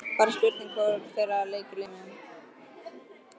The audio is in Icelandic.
Bara spurning hvor þeirra leikur liminn.